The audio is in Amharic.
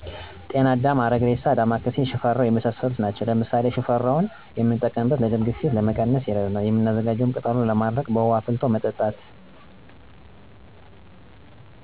ጤናአዳም፣ አረግሬሳ፣ ዳማካሴ፣ ሽፈራው የመሣሠሉት ናቸው። ለምሣሌ ሽፈራው የምንጠቀምበት ለ የደም ግፊት ለመቀነስ ይረዳናል፤ የምናዘጋጀውም ቅጠሉን በማድረቅ በውሀ አፍልቶ መጠጣት።